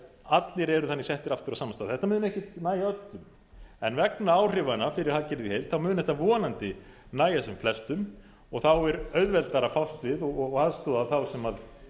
allir eru þannig settir aftur á sama stað þetta mun ekki nægja öllum en vegna áhrifanna fyrir hagkerfið í heild þá mun þetta vonandi nægja sem flestum og þá er auðveldara að fást við og aðstoða þá sem